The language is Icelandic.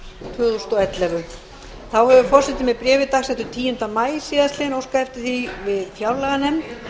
tvö þúsund og ellefu þá hefur forseti með bréfi dagsettu tíunda maí síðastliðinn óskað eftir því við fjárlaganefnd